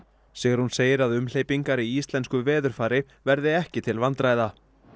Sigrún segir að umhleypingar í íslensku veðurfari verði ekki til vandræða